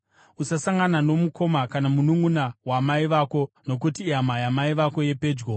“ ‘Usasangana nomukoma kana mununʼuna wamai vako nokuti ihama yamai vako yepedyo.